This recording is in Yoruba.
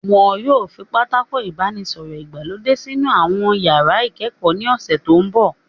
Wọn yóò fi Pátákó ìbánisọ̀rọ̀ ìgbàlódé sínú àwọn iyàrá ìkẹ́kọ̀ọ́ ní ọ̀sẹ̀ tó mbọ̀